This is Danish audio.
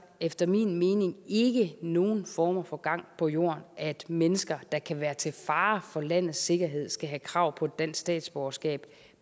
efter min mening ikke nogen former for gang på jord at mennesker der kan være til fare for landets sikkerhed skal have krav på et dansk statsborgerskab